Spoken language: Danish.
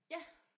Ja